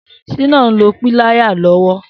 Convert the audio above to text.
Shina n lò pìláyá lọwọ